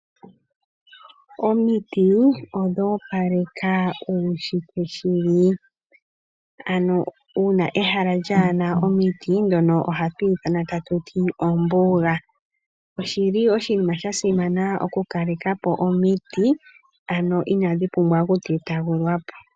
Omiti odho opaleka uunshitwe shili. Ano uuna ehala lyaana omiti ohali ithanwa taku ti ombuga. Oshinima sha simana okukaleka po omiti, ano inadhi pumbwa okutetwagulwa po.